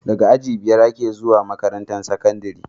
Daga aji biyar ake zuwa makarantar sakandari